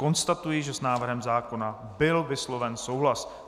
Konstatuji, že s návrhem zákona byl vysloven souhlas.